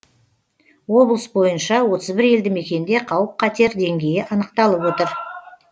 облыс бойынша отыз бір елді мекенде қауіп қатер деңгейі анықталып отыр